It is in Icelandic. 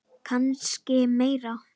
Kannski meira.